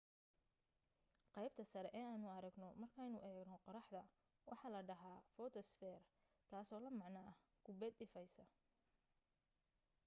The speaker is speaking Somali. qaybta sare ee aynu aragno markaynu eegno qorraxda waxa la dhahaa footosphere taasoo la macno ah kubbad ilaysa